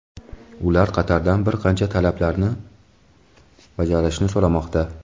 Ular Qatardan bir qancha talablarni bajarishni so‘ramoqda.